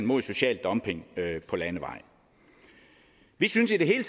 mod social dumping på landevej vi synes i det hele